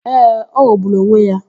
Ee, ọ ghọgburu onwe ya.